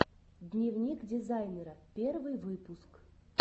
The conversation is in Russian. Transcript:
дневник дизайнера последний выпуск